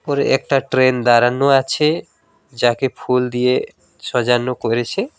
উপরে একটা ট্রেন দাঁড়ানো আছে যাকে ফুল দিয়ে সোজানো করেছে।